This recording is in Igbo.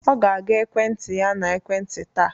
Ọ ga-aga ekwentị ya na ekwentị taa